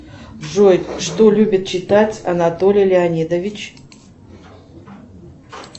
джой что любит читать анатолий леонидович